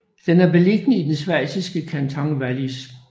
Den er beliggende i den schweiziske kanton Wallis